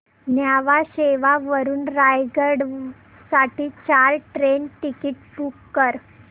न्हावा शेवा वरून रायगड साठी चार ट्रेन टिकीट्स बुक कर